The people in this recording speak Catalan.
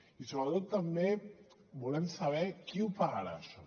i sobretot també volem saber qui ho pagarà això